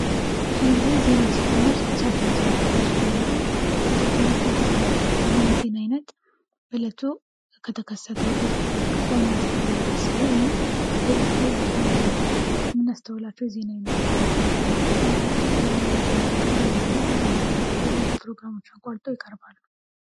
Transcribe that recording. ብዙ ግዜ ዜና ሲጀመር ሰበር ዜና ብለው ሲጀምሩ ጋዜጠኞች እናስተውላለን ይህም የዜና አይነት በለቱ ከተከሰተው አብየት ነገሮች ውስጥ ዋና ተብሎ ሚታሰው ወይም ከሌሎች ጊዜ ወጣ ብሎ ምናስተላቸው ዜና አይነቶች ናቸው። በጣም ብዙ ጊዜ ከዜና መጀመሪያ ወይም ደግሞ በመሃል በሌሎች ፕሮግራሞች አቋርጠው ይቀርባሉ።